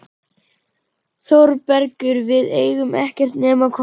ÞÓRBERGUR: Við eigum ekkert nema hvort annað.